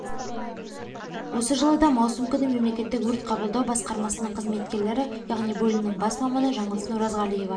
осы жылы да маусым күні мемлекеттік өрт бақылау басқармасының қызметкерлері яғни бөлімінің бас маманы жанылсын оразғалиева